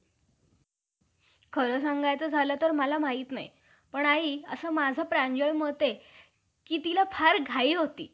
असे ठरते कि ब्राम्हण ल~ अं ब्राम्हण लोक हे समुद्राचे पलीकडेस जो इराण देश आहे. त्या देशातील मुलाचे राहणारे होते.